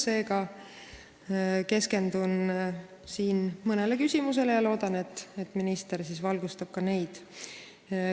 Seega keskendun siin mõnele küsimusele ja loodan, et minister valgustab ka neid.